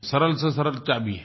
सरल से सरल चाभी है